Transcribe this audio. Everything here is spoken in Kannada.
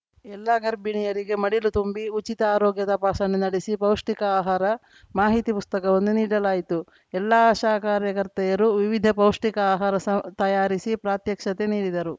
ಎಲ್ಲ ಗರ್ಭಿಣಿಯರಿಗೆ ಮಡಿಲು ತುಂಬಿ ಉಚಿತ ಆರೋಗ್ಯ ತಪಾಸಣೆ ನಡೆಸಿ ಪೌಷ್ಟಿಕ ಆಹಾರ ಮಾಹಿತಿ ಪುಸ್ತಕವನ್ನು ನೀಡಲಾಯಿತು ಎಲ್ಲ ಆಶಾ ಕಾರ್ಯಕರ್ತೆಯರು ವಿವಿಧ ಪೌಷ್ಟಿಕ ಆಹಾರ ಸ ತಯಾರಿಸಿ ಪ್ರಾತ್ಯಕ್ಷಿತೆ ನೀಡಿದರು